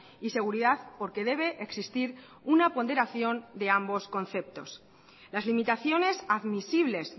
y seguridad porque debe existir una ponderación de ambos conceptos las limitaciones admisibles